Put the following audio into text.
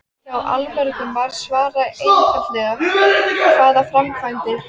Hjá allmörgum var svarið einfaldlega: Hvaða framkvæmdir?